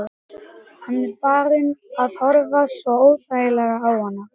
Hann er farinn að horfa svo óþægilega á hana.